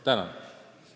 Tänan!